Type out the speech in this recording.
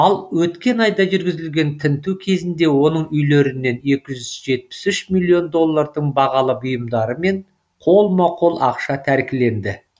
ал өткен айда жүргізілген тінту кезінде оның үйлерінен екі жүз жетпіс үш миллион доллардың бағалы бұйымдары мен қолма қол ақша тәркіленді